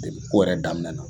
ko yɛrɛ daminɛ na